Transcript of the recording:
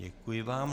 Děkuji vám.